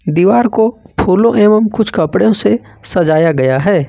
दीवार को फूलों एवं कुछ कपड़ों से सजाया गया है।